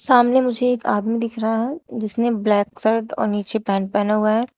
सामने मुझे एक आदमी दिख रहा है जिसने ब्लैक शर्ट और नीचे पैंट पहना हुआ है।